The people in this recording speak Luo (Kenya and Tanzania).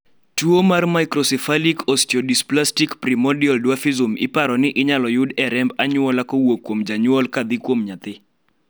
tuo mar microcephalic osteodysplastic primordial dwarfism paro ni inyalo yud e remb anyuola kowuok kuom janyuol kadhi kuom nyathi